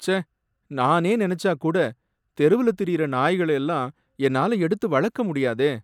ச்சே! நானே நினைச்சாக் கூட தெருவுல திரியுற நாய்கள எல்லாம் என்னால எடுத்து வளர்க்க முடியாதே!